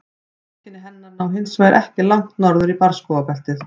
Heimkynni hennar ná hins vegar ekki langt norður í barrskógabeltið.